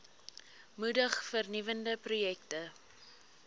moedig vernuwende projekte